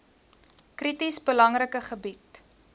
krities belangrike gebied